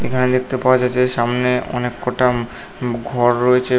এখানে দেখতে পাওয়া যাচ্ছে সামনে অনেক কটা ম উম ঘর রয়েছে।